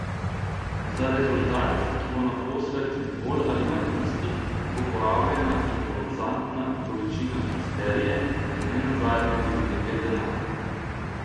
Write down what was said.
Za rezultat, ki bo naposled bolj ali manj isti, bo porabljena impozantna količina histerije in ne nazadnje tudi nekaj denarja.